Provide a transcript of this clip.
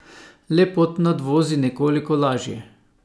Le pod nadvozi nekoliko lažje.